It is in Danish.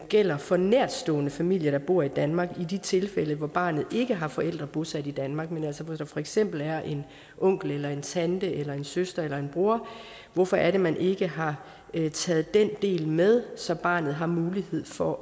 gælder for nærtstående familier der bor i danmark i de tilfælde hvor barnet ikke har forældre bosat i danmark men altså hvor der for eksempel er en onkel eller en tante eller en søster eller en bror hvorfor er det man ikke har har taget den del med så barnet har mulighed for